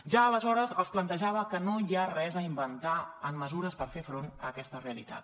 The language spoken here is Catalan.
ja aleshores els plantejava que no hi ha res a inventar en mesures per fer front a aquesta realitat